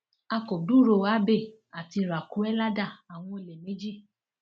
a kò gbúròó abbey àti raquelada àwọn olè méjì